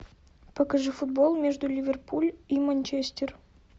покажи футбол между ливерпуль и манчестер